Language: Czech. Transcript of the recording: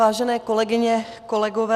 Vážené kolegyně, kolegové.